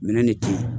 Minɛn de ti yen